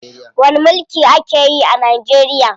Wani mulki ake yi a Najeriya?